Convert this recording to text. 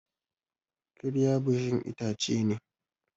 kirya busasshen itace ne